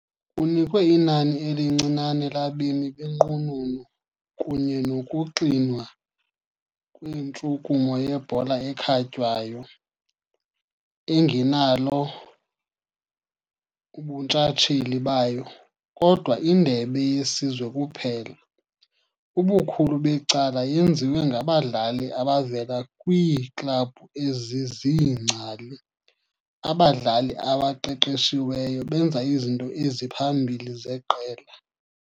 Kunikwe inani elincinane labemi benqununu kunye nokuxinwa kwentshukumo yebhola ekhatywayo, engenalo ubuntshatsheli bayo, kodwa indebe yesizwe kuphela, ubukhulu becala yenziwe ngabadlali abavela kwiiklabhu eziziingcali, abadlali abaqeqeshiweyo benza izinto eziphambili zeqela.